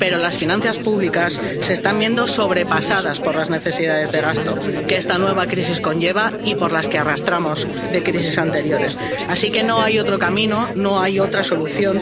Pero las finanzas públicas se están viendo sobrepasadas por las necesidades de gasto que esta nueva crisis conlleva y por las que arrastramos de crisis anteriores, así que no hay otro camino, no hay otra solución.